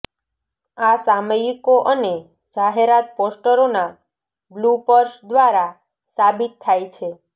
આ સામયિકો અને જાહેરાત પોસ્ટરોના બ્લૂપર્સ દ્વારા સાબિત થાય છે